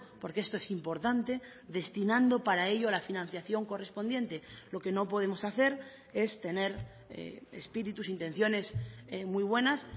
porque esto es importante destinando para ello la financiación correspondiente lo que no podemos hacer es tener espíritus intenciones muy buenas